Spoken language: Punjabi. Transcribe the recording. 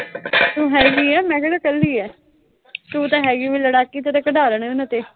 ਤੂੰ ਹੈਗੀ ਆਂ, ਮੈਂ ਕਿਹੜਾ ਕੱਲੀ ਆਂ। ਤੂੰ ਤਾਂ ਹੈਗੀ ਓ ਲੜਾਕੀ, ਤੈਂ ਤਾਂ ਕਢਾ ਲੈਣੇ ਉਨ੍ਹਾਂ ਤੋਂ।